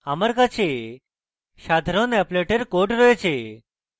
আমার কাছে সাধারণ অ্যাপলেটের code রয়েছে